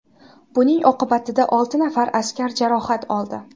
Buning oqibatida olti nafar askar jarohat oldi.